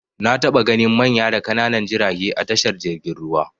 Na taɓa ganin manya da ƙananan jirage a tashar jirgin ruwa.